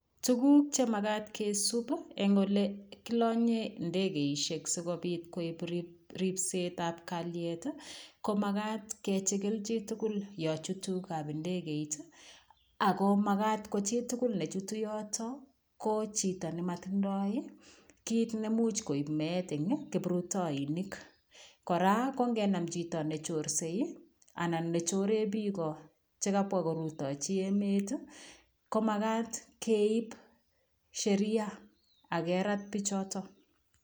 Tuguuk che magaat kisuup ii eng ole kolanyeen ndegeisiek sikobiit ripset ab kaliet ii ko magaat ko magaat kechigiil chii tugul yaan chutuu kap ndegei iit ,ako magaat ko chii tugul ne chutuu yotoon ko chitoo ne matindoi ii kit neimuuch koib meet en kiprutainik ,kora ko ngenam chitoo ne chorsei ii ne choreen biik chekabwaa korutachii emet ii ko magaat keib Sheria age Raat bichotoo.